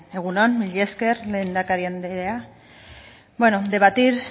egun on mila esker lehendakari andrea bueno debatir